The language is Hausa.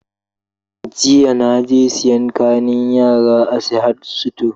Jiya naje siyan kayan yara a Sahad sito